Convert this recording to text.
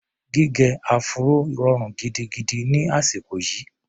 Gígẹ áfúró rọrùn gidigidi ni àsìkò yìí.